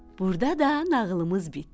Burda da nağılımız bitdi.